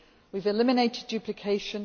support. We have eliminated duplication.